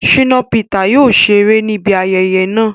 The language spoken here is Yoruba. Shina Peter yóò ṣere nibi ayẹyẹ naa